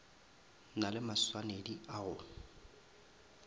na le maswanedi a go